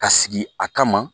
Ka sigi a kama